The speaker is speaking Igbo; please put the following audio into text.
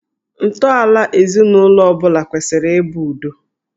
Ntọala ezinụlọ ọ bụla kwesịrị ị bụ udo